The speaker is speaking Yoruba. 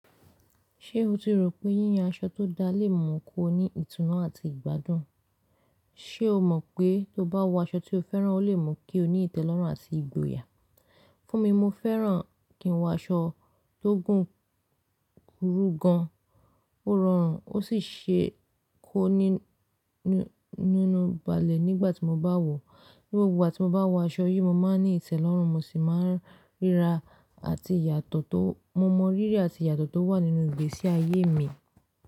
Ṣé o ti rò pé yíyan aṣọ tó dáa lè mú kí o ní ìtùnú àti ìgbádùn? Ṣé o mọ̀ pé tó bá wọ aṣọ tí o fẹ́ràn, o lè mú kí o ní ìtẹ́lọ́rùn àti ìgboyà? Fún mi, mo fẹ́ràn kí n wọ aṣọ tó gùn kúrú gan, ó rọrùn ó sì se kó ni nínú balẹ̀ nígbà tí mo bá wọ̀. Ní gbogbo ìgbà tí mo bá wọ aṣọ yìí, mo máa ń ní ìtẹ́lọ́rùn, mo sì máa ń ríra àti ìyàtọ̀ tó, mo mọ rírí àti ìyàtọ̀ tó wà nínú ìgbésí ayé mi.